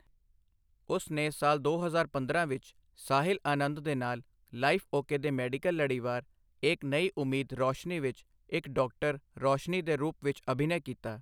ਉਸ ਨੇ ਸਾਲ ਦੋ ਹਜ਼ਾਰ ਪੰਦਰਾਂ ਵਿੱਚ, ਸਾਹਿਲ ਆਨੰਦ ਦੇ ਨਾਲ ਲਾਈਫ ਓਕੇ ਦੇ ਮੈਡੀਕਲ ਲੜੀਵਾਰ ਏਕ ਨਈ ਉਮੀਦ ਰੋਸ਼ਨੀ ਵਿੱਚ ਇੱਕ ਡਾਕਟਰ ਰੋਸ਼ਨੀ ਦੇ ਰੂਪ ਵਿੱਚ ਅਭਿਨੈ ਕੀਤਾ।